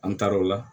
An taara o la